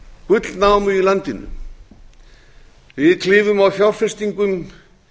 gullnámu í landinu við klifum á fjárfestingum